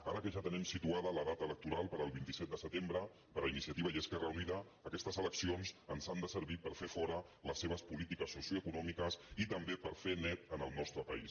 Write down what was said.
ara que ja tenim situada la data electoral per al vint set de setembre per a iniciativa i esquerra unida aquestes eleccions ens han de servir per fer fora les seves polítiques soci o·econòmiques i també per fer net en el nostre país